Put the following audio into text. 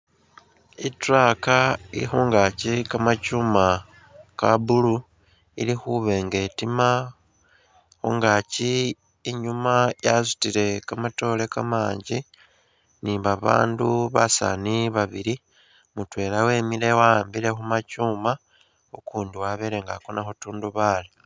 I'truck ili khungaaki kamakyuuma ka blue, ili khuba nga etima ,khungaaki inyuma yasutile kamatoore kamanji ni babandu basaani babili ,mutwela wemile wa'ambile khumakyuuma ukundi wabele nga akona khu'tundubaali